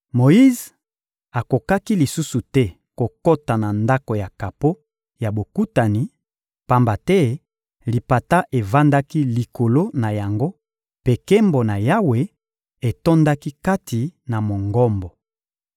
Moyize akokaki lisusu te kokota na Ndako ya kapo ya Bokutani, pamba te lipata evandaki likolo na yango mpe nkembo na Yawe etondaki kati na Mongombo.